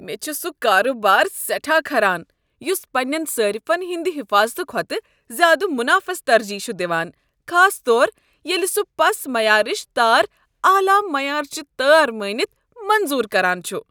مےٚ چھ سُہ کاربار سیٹھاہ کھران یُس پنٛنین صارفن ہٕنٛد حفاظت کھوتہٕ زیادٕ منافس ترجیح چھ دوان، خاص طور ییٚلہ سُہ پس معیارٕچ تار اعلی معیارٕچہ تار مٲنِتھ منظور کران چھُ۔